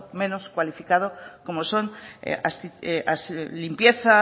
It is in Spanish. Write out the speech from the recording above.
menos cualificado como son limpieza